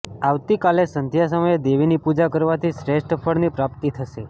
આવતી કાલે સંધ્યા સમયે દેવીની પૂજા કરવાથી શ્રેષ્ઠફળની પ્રાપ્તિ થશે